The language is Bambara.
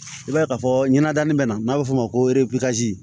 I b'a ye ka fɔ ɲɛna danni bɛ na n'a bɛ f'o ma ko